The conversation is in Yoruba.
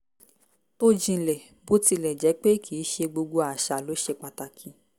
tó jínḷẹ́ bó tilẹ̀ jẹ́ pé kì í ṣe gbogbo àṣà ló ṣe pàtàkì